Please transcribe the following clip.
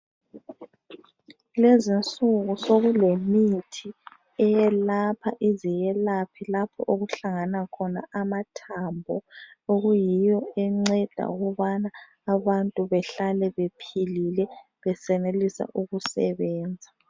Lezi insuku sokulemithi eyelapha ize iyelapha lapho okuhlangana khona amathambo okuyiyo enceda ukubana abantu bahlale bephilile besenelisa ukusebenza.